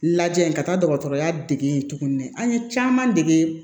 Lajɛ ka taa dɔgɔtɔrɔya dege yen tuguni an ye caman dege